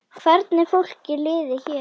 Hvernig fólki liði hér.